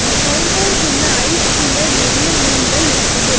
அங்க கவுண்டர்குள்ள ஐஸ்குள்ள நெறைய மீன்கள் இருக்குது.